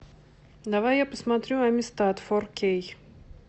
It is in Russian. давай я посмотрю амистад фор кей